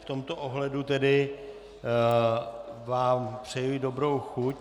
V tomto ohledu vám tedy přeji dobrou chuť.